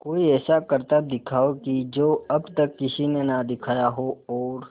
कोई ऐसा करतब दिखाओ कि जो अब तक किसी ने ना दिखाया हो और